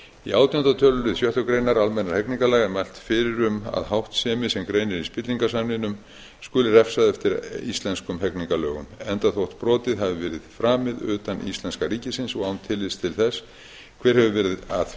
í átjánda tölulið sjöttu grein almennra hegningarlaga er mælt fyrir um að háttsemi sem greinir í spillingarsamningnum skuli refsað eftir íslenskum hegningarlögum enda þótt brotið hafi verið framið utan íslenska ríkisins og án tillits til þess hver hefur verið að því